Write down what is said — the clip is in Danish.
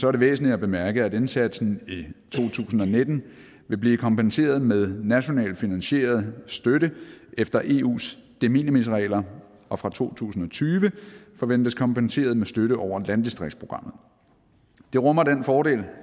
er det væsentligt at bemærke at indsatsen i to tusind og nitten vil blive kompenseret med nationalt finansieret støtte efter eus de minimis regler og fra to tusind og tyve forventes kompenseret med støtte over landdistriktsprogrammet det rummer den fordel